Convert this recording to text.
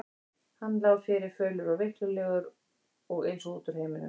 Hann lá fyrir, fölur og veiklulegur og eins og út úr heiminum.